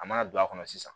A mana don a kɔnɔ sisan